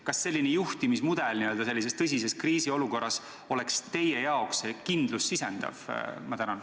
Kas selline juhtimismudel sisendaks teile tõsises kriisiolukorras kindlust?